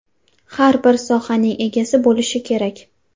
Har bir sohaning egasi bo‘lishi kerak.